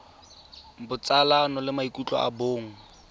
botsalano le maikutlo a bong